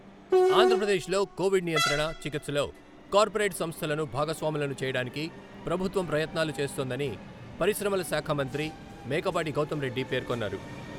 ఆంధ్రప్రదేశ్లో కోవిడ్ నియంత్రణ, చికిత్సలో కార్పొరేట్ సంస్థలను భాగస్వాములను చేయడానికి ప్రభుత్వం ప్రయత్నాలు చేస్తోందని పరిశ్రమలశాఖ మంత్రి మేకపాటి గౌతమ్ రెడ్డి పేర్కొన్నారు.